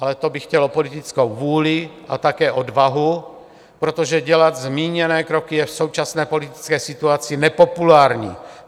Ale to by chtělo politickou vůli a také odvahu, protože dělat zmíněné kroky je v současné politické situaci nepopulární.